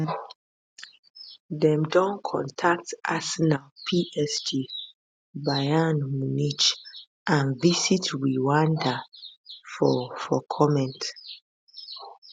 dem don contact arsenal psg bayern munich and visit rwanda for for comment